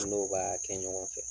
N'o b'a kɛ ɲɔgɔn fɛ